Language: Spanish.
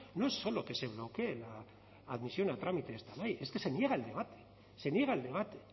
no es solo que se bloquee la admisión a trámite esta ley es que se niega el debate se niega el debate